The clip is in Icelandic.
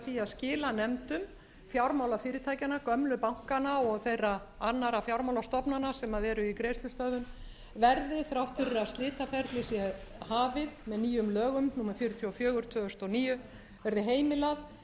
skilanefndum fjármálafyrirtækjanna gömlu bankanna og þeirra annarra fjármálastofnana sem eru í greiðslustöðvun verði þrátt fyrir að slitaferlið sé hafið með nýjum lögum númer fjörutíu og fjögur tvö þúsund og níu verði heimilað